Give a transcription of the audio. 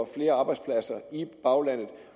flere arbejdspladser i baglandet